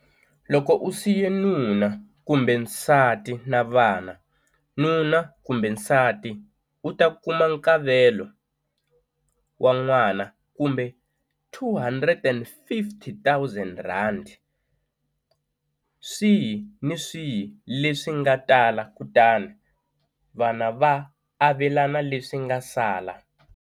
Loko u siye nuna kumbe nsati na vana, nuna kumbe nsati u ta kuma nkavelo wa n'wana kumbe R250 000, swihi ni swihi leswi nga tala, kutani vana va avelana leswi nga sala.